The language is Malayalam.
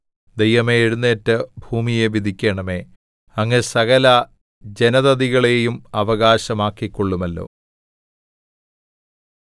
ദൈവമേ എഴുന്നേറ്റ് ഭൂമിയെ വിധിക്കണമേ അങ്ങ് സകല ജനതതികളെയും അവകാശമാക്കികൊള്ളുമല്ലോ